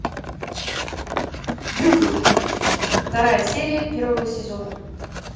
дылды вторая серия первого сезона